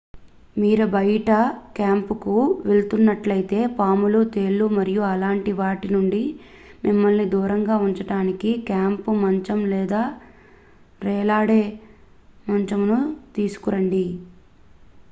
మీరు బయట క్యాంపుకు వెళుతున్నట్లైతే పాములు తేళ్లు మరియు అలాంటి వాటి నుండి మిమ్మల్ని దూరంగా ఉంచడానికి క్యాంపు మంచం లేదా వ్రేలాడే మంచమును తీసుకురండి